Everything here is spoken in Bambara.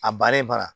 A bari bara